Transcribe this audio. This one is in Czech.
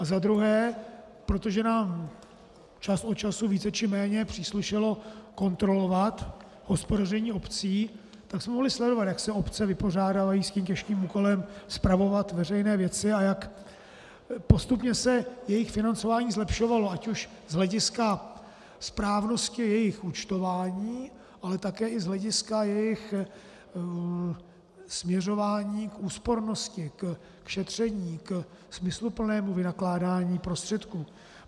A za druhé, protože nám čas od času více či méně příslušelo kontrolovat hospodaření obcí, tak jsme mohli sledovat, jak se obce vypořádávají s tím těžkým úkolem spravovat veřejné věci a jak postupně se jejich financování zlepšovalo ať už z hlediska správnosti jejich účtování, ale také i z hlediska jejich směřování k úspornosti, k šetření, ke smysluplnému vynakládání prostředků.